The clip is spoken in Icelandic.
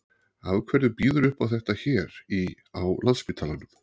Af hverju býðurðu upp á þetta hér í, á Landspítalanum?